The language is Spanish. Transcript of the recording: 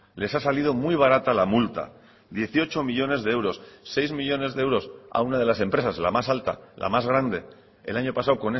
les ha salido muy barata la multa dieciocho millónes de euros seis millónes de euros a una de las empresas la más alta la más grande el año pasado